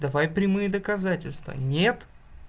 давай прямые доказательства нет